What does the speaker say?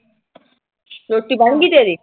ਰੋਟੀ ਬਣ ਗੀ ਤੇਰੀ।